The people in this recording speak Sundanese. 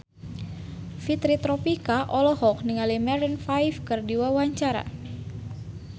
Fitri Tropika olohok ningali Maroon 5 keur diwawancara